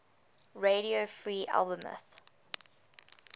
radio free albemuth